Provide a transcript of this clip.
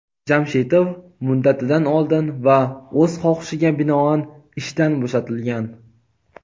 Jamshitov "muddatidan oldin" va "o‘z xohishiga binoan" ishdan bo‘shatilgan.